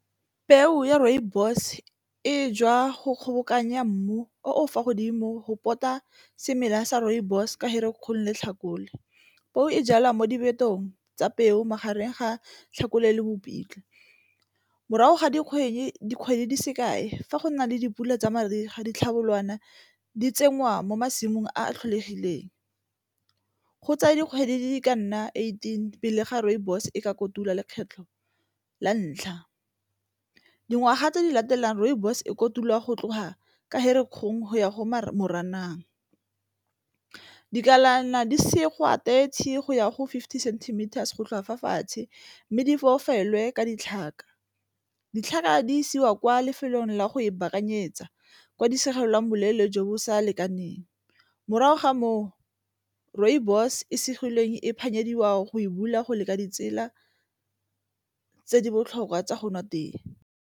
Peo ya rooibos e jwa go kgobokanya mmu o fa godimo go pota semela sa rooibos ka ge re kgole tlhakole, peo e jalwa mo diphetong tsa peo magareng ga Tlhakole le Mopitlwe. Morago ga dikgwedi dikgwedi di sekae fa go nna le dipula tsa mariga ditlhabolwana di tsengwa mo masimong a tlholegileng. Go tsaya dikgwedi di ka nna eighteen pele ga rooibos e ka kotula lekgetlho la ntlha. Dingwaga tse di latelang rooibos e kotulwa go tloga ka Ferikgong go ya go Moranang, dikalana di segwa thirty go ya go fifty centimeters go tloga fa fatshe mme di fofele ka ditlhaka, ditlhaka di isiwa kwa lefelong la go e baakanyetsa kwa di segelwang boleele jo bo sa lekaneng morago ga moo rooibos e segileng e phatlhaladiwa go e bula go leka ditsela tse di botlhokwa tsa go nwa tee.